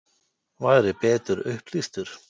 Væri betur upplýstur?